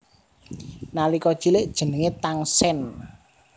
Nalika cilik jenengé Tangsen